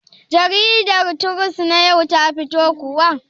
Jariɗar Deli trus na yau ta fito kuwa?